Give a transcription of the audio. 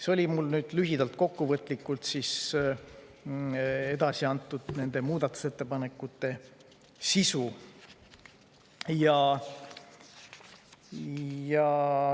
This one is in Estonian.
See oli lühidalt, kokkuvõtlikult nende muudatusettepanekute sisu.